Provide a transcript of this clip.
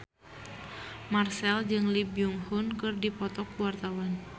Marchell jeung Lee Byung Hun keur dipoto ku wartawan